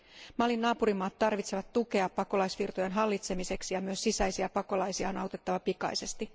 Malin naapurimaat tarvitsevat tukea pakolaisvirtojen hallitsemiseksi, ja myös sisäisiä pakolaisia on autettava pikaisesti.